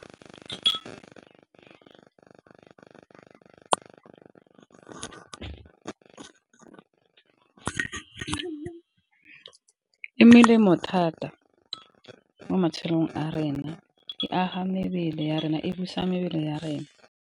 E melemo thata mo matshelong a rena e aga mebele ya rena e busa mebele ya rena.